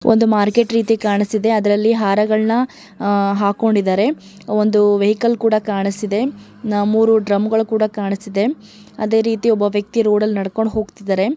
ಒಂದು ಮಾರ್ಕೆಟ್ ರೀತಿ ಕಾಣುತ್ತಿದೆ ಅದರಲ್ಲಿ ಹಾರಗಳನ್ನ ಹಾಕೊಂಡಿದ್ದಾರೆ ಒಂದು ವೆಹಿಕಲ್ ಕೂಡ ಕಾಣಿಸ್ತಿದೆ ಮೂರು ಡ್ರಮ್ ಕೂಡ ಕಾಣುಸ್ತಿದೆ. ಅದೇ ರೀತಿ ಒಬ್ಬ ವ್ಯಕ್ತಿ ರೋಡ ಲ್ ನಡ್ಕೊಂಡು ಹೋಗ್ತಾ ಇದ್ದಾರೆ.